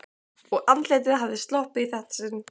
Og andlitið hafði sloppið í þetta sinn.